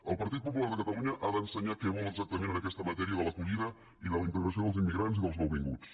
el partit popular de catalunya ha d’ensenyar què vol exactament en aques·ta matèria de l’acollida i de la integració dels immi·grants i dels nouvinguts